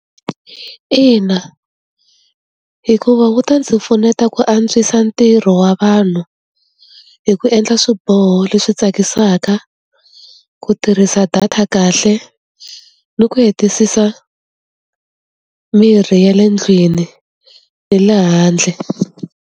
Ina hikuva wu ta ndzi pfuneta ku antswisa ntirho wa vanhu hi ku endla swiboho leswi tsakisaka ku tirhisa data kahle ni ku hetisisa mirhi ya le ndlwini ni le handle.